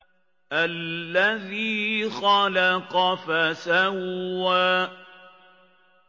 الَّذِي خَلَقَ فَسَوَّىٰ